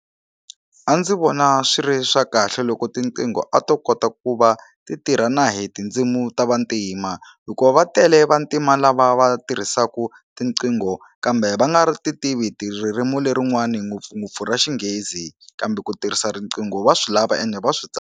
A ndzi vona swi ri swa kahle loko tinqingho a to kota ku va ti tirha na hi tindzimi ta vantima hikuva va tele vantima lava va tirhisaka tiqingho kambe va nga ri ti tivi ti ririmi lerin'wani ngopfungopfu ra Xinghezi kambe ku tirhisa riqingho va swi lava ende va swi .